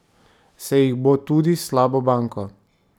Se jih bo tudi s slabo banko?